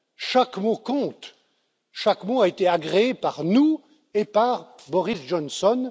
Chaque mot compte, chaque mot a été agréé par nous et par Boris Johnson.